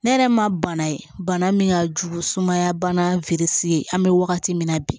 Ne yɛrɛ ma bana ye bana min ka jugu sumaya bana an be wagati min na bi